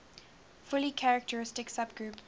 fully characteristic subgroup